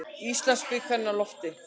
Íslandsbikarinn á lofti